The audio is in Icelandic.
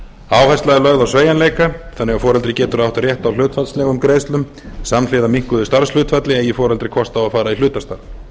áhersla er lögð á sveigjanleika þannig að foreldri getur átt rétt á hlutfallslegum greiðslum samhliða minnkuðu starfshlutfalli eigi foreldri kost á að fara í hlutastarf